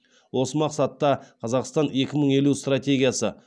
осы мақсатта қазақстан екі мың елу стратегиясы